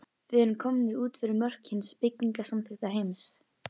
Við erum komnir út fyrir mörk hins byggingarsamþykkta heims.